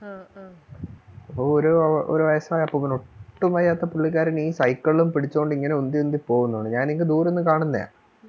ഒരു വയസായ അപ്പൂപ്പൻ ഒട്ടും വയ്യാത്ത പുള്ളിക്കാരൻ ഈ സൈക്കളും പിടിച്ചോണ്ട് ഇങ്ങനെ ഉന്തി ഉന്തി പോവുന്നുണ്ട് ഞാൻ ഇങ്ങു ദൂരെ നിന്ന് കാണുന്നതാ